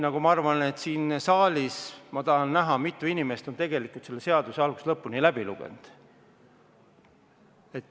Ka siin saalis, ma tahan näha, kui mitu inimest on tegelikult selle seaduse algusest lõpuni läbi lugenud.